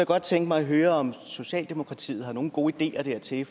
godt tænke mig at høre om socialdemokratiet har nogen gode ideer til det